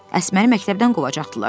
Əsməri məktəbdən qovacaqdılar.